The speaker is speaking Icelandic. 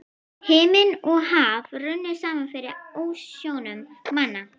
Himinn og haf runnu saman fyrir ásjónum manna.